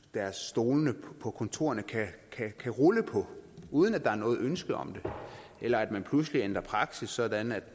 deres stole på kontorerne kan rulle på uden at der er noget ønske om det eller at der pludselig bliver ændret praksis sådan at